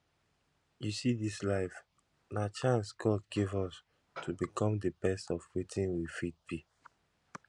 you see dis life na chance god give us to become the best of wetin we fit be